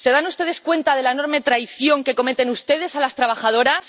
¿Se dan ustedes cuenta de la enorme traición que cometen ustedes a las trabajadoras?